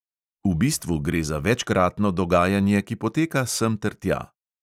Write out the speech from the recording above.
V bistvu gre za večkratno dogajanje, ki poteka semtertja.